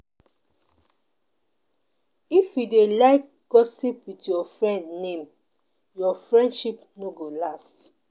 If you dey like gossip with your friend name, your friendship no go last.